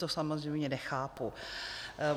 To samozřejmě nechápu.